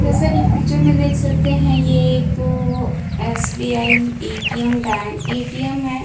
जैसा कि पिक्चर में देख सकते हैं ये एक एसबीआई एटीएम बैंक -- एटीएम है।